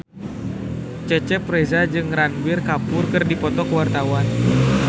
Cecep Reza jeung Ranbir Kapoor keur dipoto ku wartawan